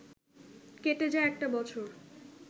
কেটে যায় একটা বছর